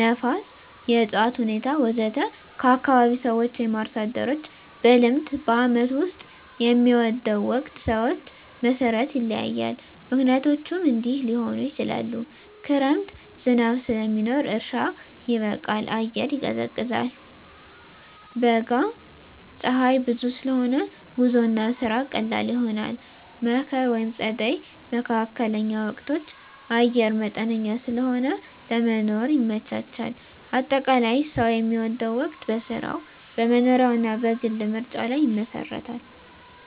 ነፋስ፣ የእፅዋት ሁኔታ ወዘተ ከአካባቢ ሰዎች/አርሶ አደሮች – በልምድ በዓመቱ ውስጥ የሚወደው ወቅት ሰዎች መሠረት ይለያያል፣ ምክንያቶቹም እንዲህ ሊሆኑ ይችላሉ፦ ክረምት – ዝናብ ስለሚኖር እርሻ ይበቃል፣ አየር ይቀዝቃዛል። በጋ – ፀሐይ ብዙ ስለሆነ ጉዞና ስራ ቀላል ይሆናል። መከር/ጸደይ (መካከለኛ ወቅቶች) – አየር መጠነኛ ስለሆነ ለመኖር ይመቻቻል። አጠቃላይ፣ ሰው የሚወደው ወቅት በሥራው፣ በመኖሪያው እና በግል ምርጫው ላይ ይመሰረታል።